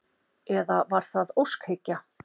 Eða var það óskhyggja?